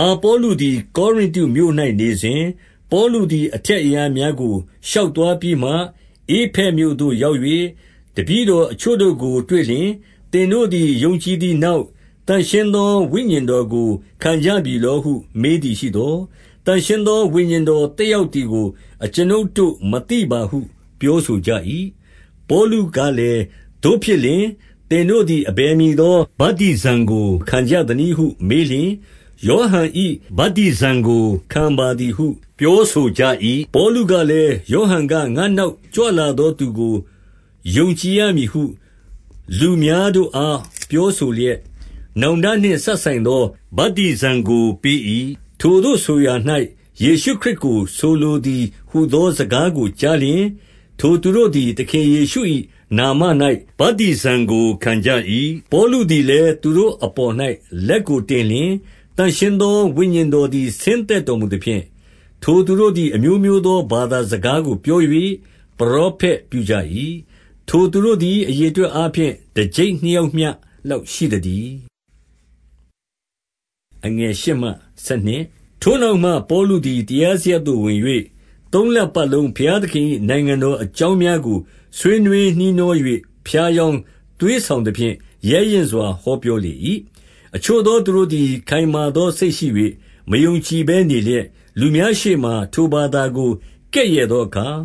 အာပေါလုသည် ကောရိန္တုမြို့၌နေစဉ်၊ ပေါလုသည်အထက် အရပ်များကို ရှောက်သွားပြီးမှ ဧဖက်မြို့သို့ရောက်၍၊ တပည့်တော် အချို့တို့ကိုတွေ့လျှင်၊ 2 သင်တို့သည် ယုံကြည်သည်နောက်၊ သန့်ရှင်း သော ဝိညာဉ်တော် ကိုခံကြပြီဟု မေးသည်ရှိသော်၊ သန့်ရှင်းသော ဝိညာဉ်တော်သက်ရောက်သည်ကို အကျွန်ုပ်တို့မသိပါဟု ပြောဆိုကြ၏။ 3 ပေါလုကလည်း၊ သို့ဖြစ်လျှင်၊ သင်တို့သည် အဘယ်မည်သော ဗတ္တိဇံကို ခံကြသနည်းဟု မေးလျှင်၊ ယောဟန်၏ဗတ္တိဇံကိုခံပါသည်ဟု ပြောဆိုကြ၏။ 4 ပေါလုကလည်း၊ ယောဟန်က၊ ငါ့နောက်ကြွလာသောသူကို ယုံကြည်ရမည်ဟု လူများတို့အား ပြောဆို လျက်၊ နောင်တနှင့် စပ်ဆိုင်သော ဗတ္တိဇံကိုပေး၏။ ထိုသို့ဆိုရာ၌ ယေရှုခရစ်ကို ဆိုလိုသည်။ 5 ဟူသောစကားကို ကြားလျှင်၊ ထိုသူတို့သည် သခင်ယေရှု၏ နာမ၌ဗတ္တိဇံကို ခံကြ၏။ 6 ပေါလုသည်လည်း၊ သူတို့အပေါ်၌ လက်ကိုတင်လျှင်၊ သန့်ရှင်းသော ဝိညာဉ်တော်သည် ဆင်းသက်တော် မူသဖြင့်၊ ထိုသူတို့သည် အမျိုးမျိုးသော ဘာသာစကားကို ပြော၍ ပရောဖက်ပြုကြ၏။ 7 ထိုသူတို့သည် အရေအတွက်အားဖြင့် တကျိပ် နှစ်ယောက်မျှ လောက်ရှိသတည်း။ 8 ထိုနောက်မှ ပေါလုသည် တရားစရပ်သို့ဝင်၍ သုံးလပတ်လုံး ဘုရားသခင်၏ နိုင်ငံတော်အကြောင်း များကို ဆွေးနွေးနှီးနှော၍ ဖြားယောင်းသွေးဆောင်သဖြင့် ရဲရင့်စွာ ဟောပြောလေ၏။ 9 အချို့သောသူတို့သည် ခိုင်မာသောစိတ်ရှိ၍ မယုံကြည်ဘဲ နေလျက်၊ လူများရှေ့မှာ ထိုဘာသာကို ကဲ့ရဲ့သောအခါ၊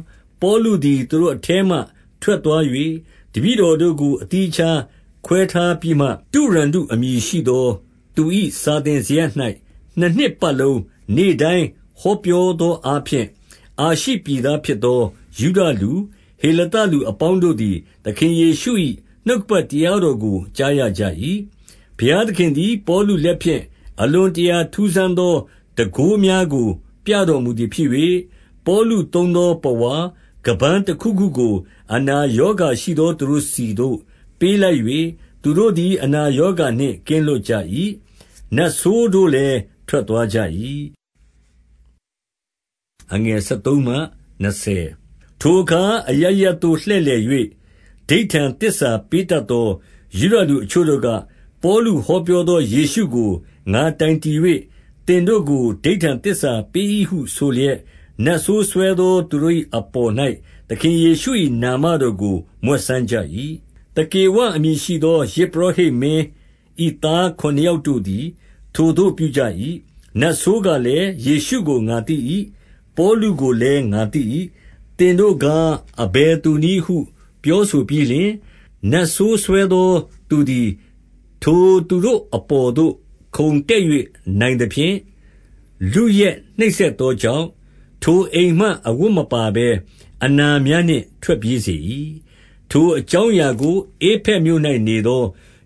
ပေါလုသည် သူတို့အထဲမှထွက်သွား၍ တပည့်တော်တို့ကို အသီးအခြားခွဲထားပြီးမှ၊ 10 တုရန္နုအမည်ရှိသောသူ၏ စာသင်စရပ်၌ နှစ်နှစ်ပတ်လုံး နေ့တိုင်းဟောပြောသောအားဖြင့်၊ အာရှိ ပြည်သားဖြစ်သော ယုဒလူ၊ ဟေလသလူ အပေါင်းတို့ သည် သခင်ယေရှု၏ နှုတ်ကပတ်တရားတော်ကို ကြားရကြ၏။ 11 ဘုရားသခင်သည် ပေါလုလက်ဖြင့် အလွန် တရာ ထူးဆန်းသော တန်ခိုးများကိုပြတော်မူသည်ဖြစ်၍၊ 12 ပေါလုသုံးသောပဝါ၊ ခါးပန်းတခုခုကို အနာရောဂါရှိသောသူ တို့ဆီသို့၊ ပေးလိုက်၍၊ သူတို့သည် အနာရောဂါနှင့်ကင်းလွတ်ကြ၏။ နတ်ဆိုးတို့လည်း ထွက်သွားကြ၏။ 13 ထိုအခါအရပ်ရပ်သို့လှည့်လည်၍ ဓိဋ္ဌာန်သစ္စာ ပေးတတ်သော ယုဒလူအချို့တို့က၊ ပေါလုဟောပြော သော ယေရှုကို ငါတိုင်တည်၍ သင်တို့ကို ဓိဋ္ဌာန်သစ္စာ ပေး၏ဟုဆိုလျက်၊ နတ်ဆိုးစွဲသော သူတို့၏အပေါ်၌ သခင်ယေရှု၏နာမတော်ကို မြွက်စမ်းကြ၏။ 14 သကေဝအမည်ရှိသော ယဇ်ပုရောဟိတ်မင်း၏ သားခုနစ်ယောက်တို့သည် ထိုသို့ပြုကြ၏။ 15 နတ်ဆိုးကလည်း၊ ယေရှုကိုငါသိ၏။ ပေါလုကို လည်း ငါသိ၏။ သင်တို့ကား၊ အဘယ်သူနည်းဟု ပြောဆိုပြီးလျှင်၊ 16 နတ်ဆိုးစွဲသောသူသည် ထိုသူတို့အပေါ်သို့ ခုန်တက်၍နိုင်သဖြင့် လုယက်နှိပ်စက်သောကြောင့်၊ ထိုအိမ်မှအဝတ်မပါဘဲအနာများနှင့် ထွက်ပြေးစေ၏။ 17 ထိုအကြောင်းအရာကို ဧဖက်မြို့၌နေသော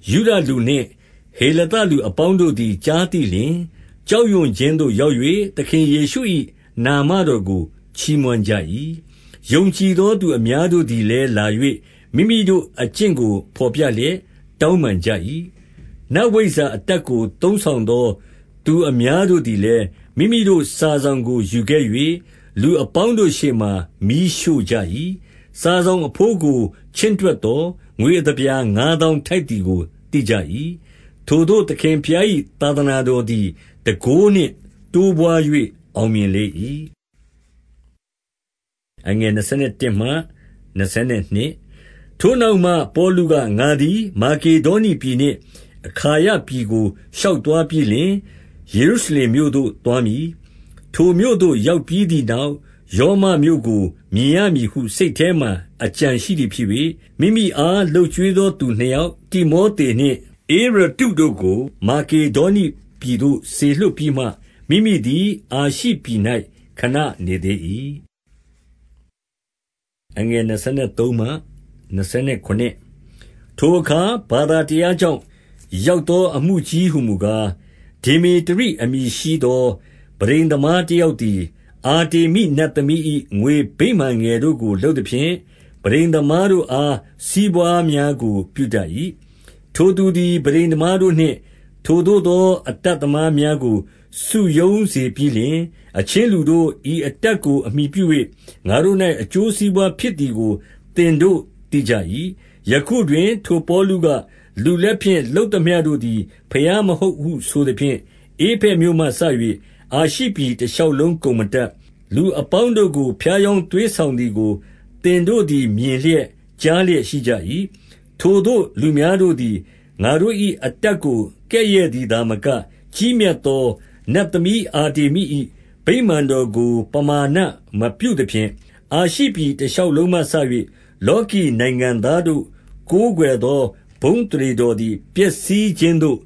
ယုဒလူနှင့် ဟေလသလူအပေါင်းတို့သည် ကြားသိလျှင်၊ ကြောက်ရွံ့ခြင်းသို့ရောက်၍ သခင်ယေရှု၏ နာမတော် ကိုချီးမွမ်းကြ၏။ 18 ယုံကြည်သောသူအများတို့သည်လည်း လာ၍ မိမိတို့အကျင့်ကို ဘော်ပြလျက်တောင်းပန်ကြ၏။ 19 နတ်ဝိဇ္ဇာအတတ်ကိုသုံးဆောင်သော သူအများတို့သည်လည်း မိမိတို့စာစောင်ကိုယူခဲ့၍ လူအပေါင်းတို့ ရှေ့မှာမီးရှို့ကြ၏။ စာစောင် အဘိုးကိုချင့်တွက်သော်၊ ငွေအသပြာ ငါးသောင်းထိုက်သည်ကို သိကြ၏။ 20 ထိုသို့သခင်ဘုရား၏သာသနာတော်သည် တန်ခိုးနှင့်တိုးပွား၍ အောင်မြင်လေ၏။ 21 ထိုနောက်မှပေါလုက၊ ငါသည်မာကေဒေါနိပြည်နှင့် အခါယပြည် ကိုရှောက်သွားပြီးလျှင်၊ ယေရုရှလင်မြို့ သို့သွားမည်။ ထိုမြို့သို့ ရောက်ပြီးသည်နောက်၊ ရောမမြို့ကိုမြင်ရမည်ဟုစိတ်ထဲ၌ အကြံရှိသည်ဖြစ်၍၊ 22 မိမိအားလုပ်ကျွေးသော သူနှစ်ယောက်၊ တိမောသနှင့် ဧရတ္တု တို့ကို မာကေဒေါနိပြည်သို့ စေလွှတ်ပြီးမှ မိမိသည် အာရှိပြည်၌ခဏ နေသေး၏။ 23 ထိုအခါဘာသာတရားကြောင့် ရောက်သော အမှုကြီးဟူမူကား၊ 24 ဒေမေတရိအမည်ရှိသော ပန်းထိမ်သမားတယောက်သည် အာတေမိနတ်သမီး၏ ငွေဗိမာန်ငယ် တို့ကို လုပ်သဖြင့်၊ ပန်းထိမ်သမား တို့အားစီးပွားများ ကိုပြုတတ်၏။ 25 ထိုသူသည်ပန်းထိမ်သမားတို့နှင့် ထိုသို့သော အတတ်သမား များကိုစုရုံးစေပြီးလျှင်၊ အချင်းလူတို့၊ ဤ အတတ်ကိုသင်တို့သိကြ၏။ 26 ယခုတွင် ထိုပေါလုက၊ လူလက်ဖြင့် လုပ်သမျှ တို့သည် ဘုရားမဟုတ်ဟုဆိုသဖြင့်၊ ဧဖက်မြို့မှစ၍ အာရှိပြည် တရှောက်လုံးကုန် မတတ်၊ လူအပေါင်းတို့ကို ဖြားယောင်းသွေးဆောင်သည်ကို သင်တို့သည် မြင်လျက်၊ ကြားလျက်ရှိကြ၏။ 27 ထိုသို့လူများတို့သည် ငါတို့၏အတတ်ကို ကဲ့ရဲ့သည်သာမက၊ ကြီးမြတ်သောနတ်သမီးအာတေမိ၏ ဗိမာန်တော်ကို ပမာဏမပြုသဖြင့်၊ အာရှိပြည် တရှောက် လုံးမှစ၍ လောကီနိုင်ငံသားတို့ ကိုးကွယ်သောဘုန်း အသရေတော်သည် ပျက်စီးခြင်းသို့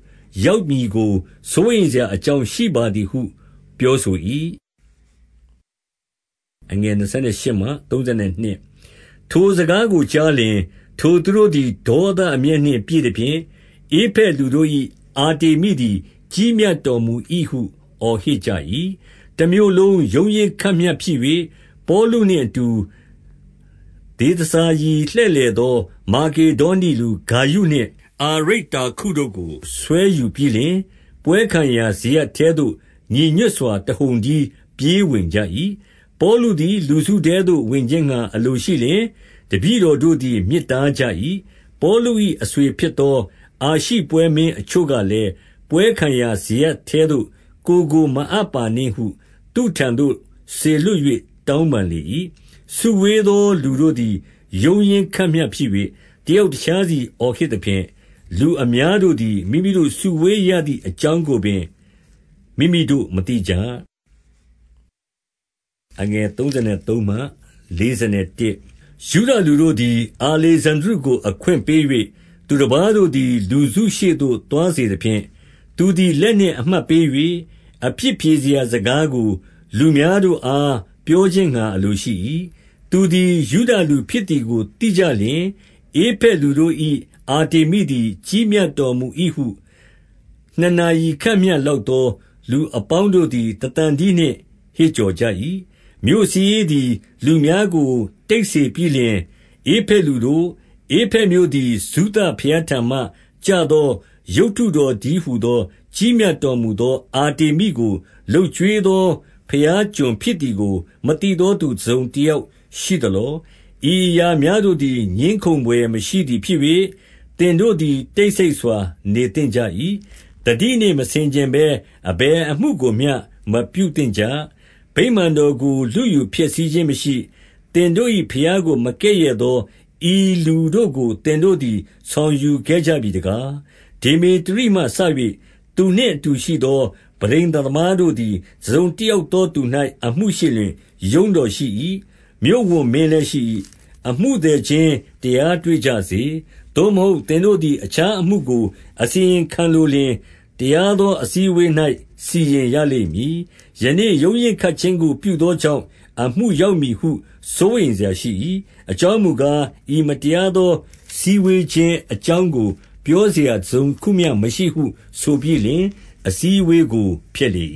ရောက်မည်ကို စိုးရိမ်စရာအကြောင်း ရှိပါသည်ဟု ပြောဆို၏။ 28 ထိုစကားကိုကြားလျှင်၊ ထိုသူတို့သည် ဒေါသအမျက်နှင့် ပြည့်သဖြင့်၊ ဧဖက်လူတို့၏ အာတေမိသည် ကြီးမြတ်တော်မူ၏ဟု အော်ဟစ်ကြ၏။ 29 တမြို့လုံးရုန်းရင်းခတ်မျှဖြစ်၍၊ ပေါလုနှင့်အတူ ဒေသစာရီ လှည့်လည်သော မာတေဒေါနိလူ ဂါယုနှင့် အာရိတ္တာခုတို့ကို ဆွဲယူပြီးလျှင်၊ ပွဲခံရာစရပ်ထဲသို့ ညီညွတ်စွာ တဟုန်တည်းပြေးဝင်ကြ၏။ 30 ပေါလုသည် လူစုထဲသို့ဝင်ခြင်းငှါ အလိုရှိလျှင် တပည့်တော် တို့သည် မြစ်တားကြ၏။ 31 ပေါလု၏အဆွေဖြစ်သော အာရှိပွဲမင်းအချို့ ကလည်း၊ ပွဲခံရာ စရပ်ထဲသို့ကိုယ်ကိုမအပ်ပါနှင့်ဟု သူ့ထံသို့စေလွှတ်၍ တောင်းပန်လေ၏။ 32 စုဝေးသောလူတို့သည် ရုန်းရင်းခတ်မျှဖြစ်၍၊ တယောက် တခြားစီ အော်ဟစ်သဖြင့်၊ လူအများတို့သည် မိမိတို့စုဝေးရသည် အကြောင်းကိုပင်မိမိတို့မသိကြ။ 33 ယုဒလူတို့သည် အာလေဇန္ဒြုကို အခွင့်ပေး၍ သူတပါးတို့သည် လူစုရှေ့သို့ သွားစေသဖြင့်၊ သူသည် လက်နှင့်အမှတ်ပေး၍ အပြစ်ဖြေရာ စကားကို လူများတို့ အား ပြောခြင်းငှါ အလိုရှိ၏။ 34 သူသည်ယုဒလူဖြစ်သည်ကို သိကြလျှင်၊ ဧဖက်လူတို့၏ အာတေမိသည် ကြီးမြတ်တော်မူ၏ဟု နှစ်နာရီ ခန့်မျှလောက် လူအပေါင်း တို့သည် တသံတည်းနှင့် ဟစ်ကြ၏။ 35 မြို့စာရေးသည် လူများကိုတိတ်စေပြီးလျှင်၊ ဧဖက်လူတို့၊ ဧဖက်မြို့သည် ဇုသဘုရားထံမှ ကျသော ရုပ်တုတော်တည်းဟူသော ကြီးမြတ်တော်မူသော အာတေမိကို လုပ်ကျွေးသောဘုရားကျွန်ဖြစ်သည် ကို မသိသော သူတစုံတယောက်ရှိသလော။ 36 ဤအရာများတို့သည် ငြင်းခုံဘွယ်မရှိသည်ဖြစ် ၍၊ သင်တို့သည် တိတ်ဆိတ်စွာနေသင့်ကြ၏။ 37 သတိနှင့်မဆင်ခြင်ဘဲ အဘယ်အမှုကိုမျှ မပြုသင့်ကြ၊ ဗိမာန်တော်ကိုလုယူဖျက်ဆီးခြင်းမရှိ၊ သင်တို့ ၏ ဘုရားကိုမကဲ့ရဲ့သော ဤလူတို့ကို သင်တို့သည် ဆောင်ယူခဲ့ကြပြီတကား။ 38 ဒေမေတရိမှစ၍ သူနှင့်အတူရှိသော ပန်းထိမ်သမားတို့သည် တစုံတယောက်သောသူ၌ အမှုရှိလျှင် ရုံးတော်ရှိ၏။ မြို့ဝန်မင်းလည်းရှိ၏။ အမှုသည်ချင်း တရားတွေ့ကြစေ။ 39 သို့မဟုတ်သင်တို့သည် အခြားအမှုကို အစီရင်ခံ လိုလျှင်၊ တရားသောအစည်းအဝေး၌စီရင်ရလိမ့်မည်။ 40 ယနေ့ရုန်းရင်းခတ်ခြင်းကို ပြုသောကြောင့် အမှုရောက်မည်ဟု စိုးရိမ်စရာရှိ၏။ အကြောင်းမူကား၊ ဤမတရားသောစည်းဝေးခြင်း အကြောင်းကို ပြောစရာ တစုံတခုမျှ မရှိဟု၊ 41 ဆိုပြီးလျှင် အစည်းအဝေးကိုဖျက်လေ